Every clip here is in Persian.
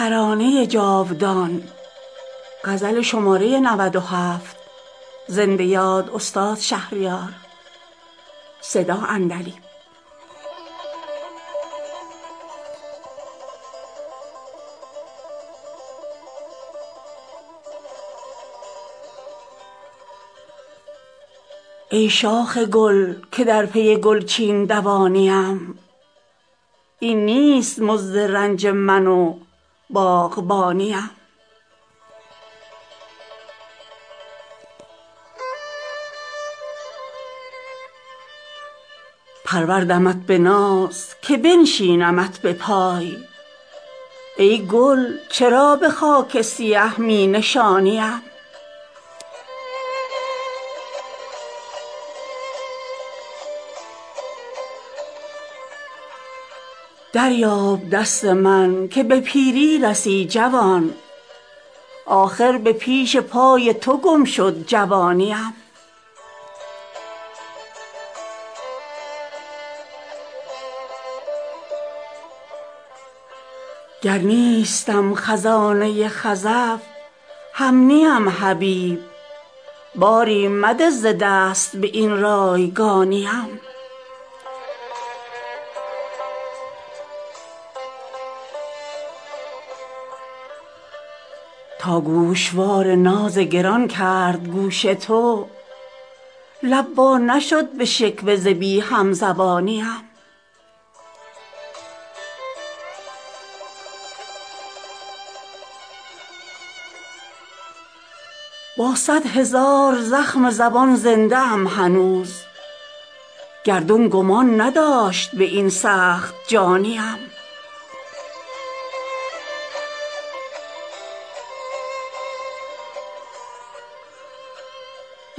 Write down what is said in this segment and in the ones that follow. ای شاخ گل که در پی گلچین دوانی ام این نیست مزد رنج من و باغبانی ام پروردمت به ناز که بنشینمت به پای ای گل چرا به خاک سیه می نشانی ام دریاب دست من که به پیری رسی جوان آخر به پیش پای تو گم شد جوانی ام گر نیستم خزانه خزف هم نیم حبیب باری مده ز دست به این رایگانی ام تا گوشوار ناز گران کرد گوش تو لب وا نشد به شکوه ز بی هم زبانی ام ای یوسف عزیز که ثانی ندیدمت بازآ که در فراق تو یعقوب ثانی ام با صدهزار زخم زبان زنده ام هنوز گردون گمان نداشت به این سخت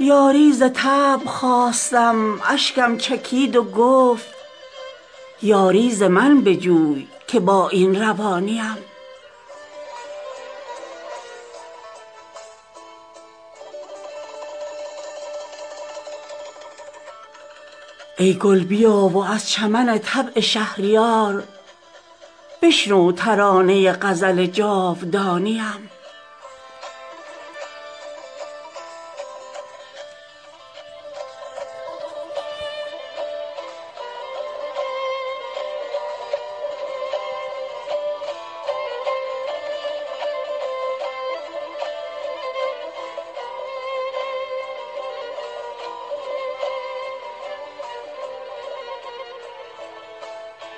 جانی ام یاری ز طبع خواستم اشکم چکید و گفت یاری ز من بجوی که با این روانی ام ای گل بیا و از چمن طبع شهریار بشنو ترانه غزل جاودانی ام